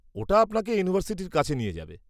ওটা আপনাকে ইউনিভার্সিটির কাছে নিয়ে যাবে।